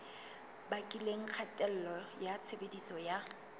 bakileng kgatello ya tshebediso ya